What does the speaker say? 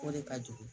O de ka jugu